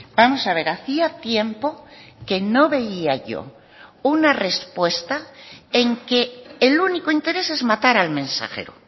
vamos a ver hacía tiempo que no veía yo una respuesta en que el único interés es matar al mensajero